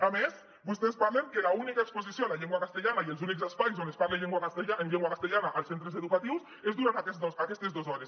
a més vostès parlen que l’única exposició a la llengua castellana i els únics espais on es parla en llengua castellana als centres educatius és durant aquestes dos hores